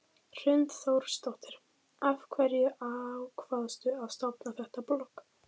Hrund Þórsdóttir: Af hverju ákvaðstu að stofna þetta blogg?